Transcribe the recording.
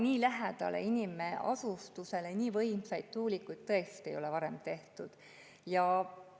Nii lähedale inimasustusele nii võimsaid tuulikuid ei ole varem tõesti.